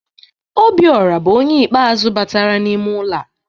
Obiọra bụ onye ikpe azụ batara n'ime ụlọ a.